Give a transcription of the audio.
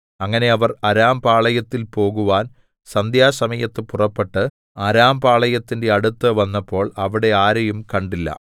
അങ്ങനെ അവർ അരാംപാളയത്തിൽ പോകുവാൻ സന്ധ്യാസമയത്ത് പുറപ്പെട്ട് അരാംപാളയത്തിന്റെ അടുത്ത് വന്നപ്പോൾ അവിടെ ആരെയും കണ്ടില്ല